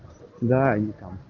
давай